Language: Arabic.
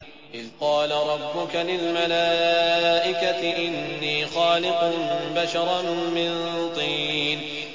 إِذْ قَالَ رَبُّكَ لِلْمَلَائِكَةِ إِنِّي خَالِقٌ بَشَرًا مِّن طِينٍ